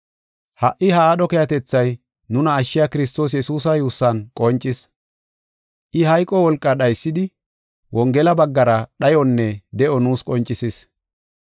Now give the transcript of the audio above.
Ha77i ha aadho keehatethay nuna ashshiya Kiristoos Yesuusa yuussan qoncis. I hayqo wolqaa dhaysidi, Wongela baggara dhayonna de7o nuus qoncisis.